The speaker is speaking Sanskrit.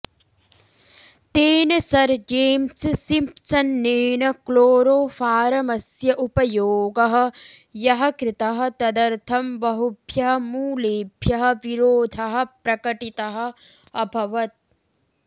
तेन सर् जेम्स् सिम्प्सन्नेन क्लोरोफारमस्य उपयोगः यः कृतः तदर्थं बहुभ्यः मूलेभ्यः विरोधः प्रकटितः अभवत्